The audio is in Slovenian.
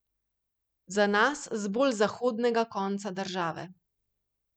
Za nas z bolj zahodnega konca države.